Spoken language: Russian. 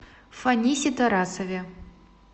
фанисе тарасове